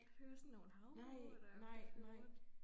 At høre sådan nogle havmåger der der flyver rundt